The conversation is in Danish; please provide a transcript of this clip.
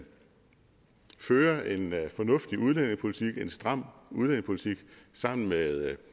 fører en fornuftig udlændingepolitik en stram udlændingepolitik sammen med